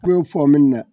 Ko fɔ min na